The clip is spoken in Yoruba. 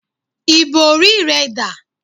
Ìbòrí rẹ dà?